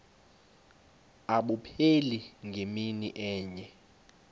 abupheli ngemini enye